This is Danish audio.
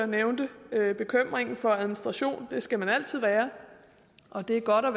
nævnte bekymringen for administrationen og den skal man altid have og det er godt at